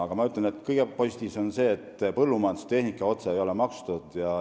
Aga ma ütlen, et kõige positiivsem on see, et põllumajandustehnika ei ole otse maksustatud.